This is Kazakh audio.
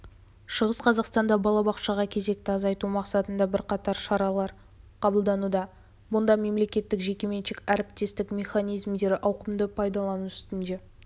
шығыс қазақстанда балабақшаға кезекті азайту мақсатында бірқатар шаралар қабылдануда мұнда мемлекеттік-жекеменшік әріптестік механизмдері ауқымды пайдалану үстінде